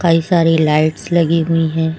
कई सारी लाइट्स लगी हुई हैं।